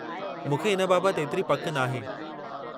मूंखे इन बाबतु एतिरी पकि नाहे।